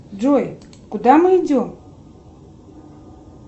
джой куда мы идем